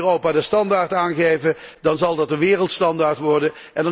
Want als wij in Europa de standaard aangeven, dan zal dat de wereldstandaard worden.